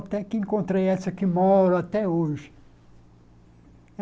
Até que encontrei essa que moro até hoje.